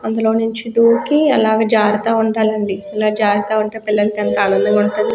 అందులో నుంచి దూకి అలా జారుతా ఉండాలండి. అలా జరుతే పిల్లకి ఎంతో అందంగా ఉంటుంది.